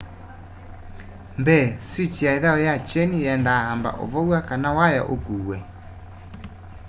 mbee swikyi ya ithau ya kyeni yienda amba uvow'a kana waya ukuuwe